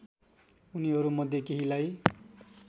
उनीहरू मध्ये केहीलाई